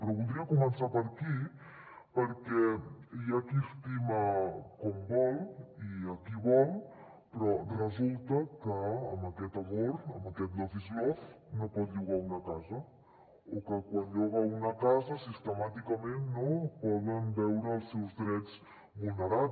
però voldria començar per aquí perquè hi ha qui estima com vol i qui vol però resulta que amb aquest amor amb aquest love is love no pot llogar una casa o que quan lloga una casa sistemàticament no pot veure els seus drets vulnerats